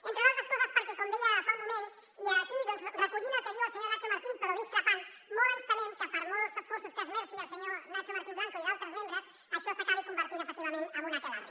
entre d’altres coses perquè com deia fa un moment i aquí doncs recollint el que diu el senyor nacho martín però discrepant ne molt ens temem que per molts esforços que esmerci el senyor nacho martín blanco i d’altres membres això s’acabi convertint efectivament en un aquelarre